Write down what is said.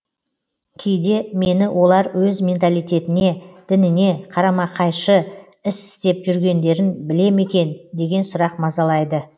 кейде мені олар өз менталитетіне дініне қарамақайшы іс істеп жүргендерін біле ме екен деген сұрақ мазалайды